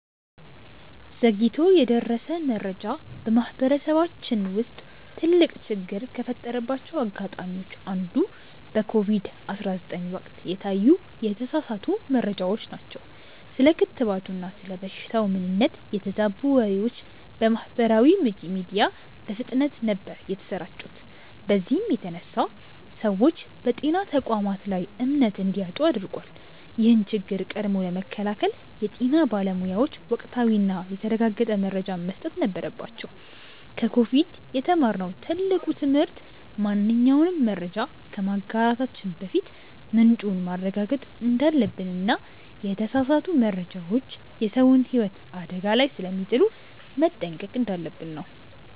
ዘግይቶ የደረሰ መረጃ በማህበረሰባችን ውስጥ ትልቅ ችግር ከፈጠረባቸው አጋጣሚዎች አንዱ በኮቪድ 19 ወቅት የታዩ የተሳሳቱ መረጃዎች ናቸው። ስለ ክትባቱና ስለ በሽታው ምንነት የተዛቡ ወሬዎች በማህበራዊ ሚዲያ በፍጥነት ነበር የተሰራጩት በዚህም የተነሳ ሰዎች በጤና ተቋማት ላይ እምነት እንዲያጡ አድርጓል። ይህን ችግር ቀድሞ ለመከላከል የጤና ባለሙያዎች ወቅታዊና የተረጋገጠ መረጃን መስጠት ነበረባቸው። ከኮቪድ የተማርነው ትልቁ ትምህርት ማንኛውንም መረጃ ከማጋራታችን በፊት ምንጩን ማረጋገጥ እንዳለብንና የተሳሳቱ መረጃዎች የሰውን ህይወት አደጋ ላይ ስለሚጥሉ መጠንቀቅ እንዳለብን ነው።